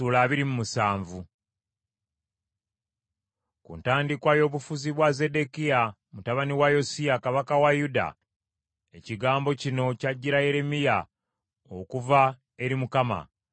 Ku ntandikwa y’obufuuzi bwa Zeddekiya mutabani wa Yosiya kabaka wa Yuda, ekigambo kino kyajjira Yeremiya okuva eri Mukama :